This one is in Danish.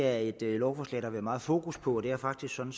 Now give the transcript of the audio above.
er et lovforslag der har været meget fokus på og det er faktisk sådan